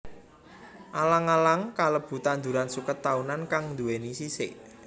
Alang alang kalebu tanduran suket taunan kang nduwèni sisik